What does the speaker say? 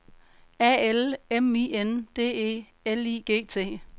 A L M I N D E L I G T